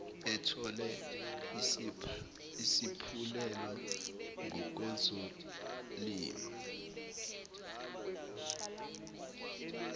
ethole isaphulelo ngokwezolimo